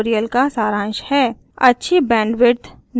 यह spoken tutorial का सारांश है